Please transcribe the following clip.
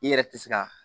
I yɛrɛ tɛ se ka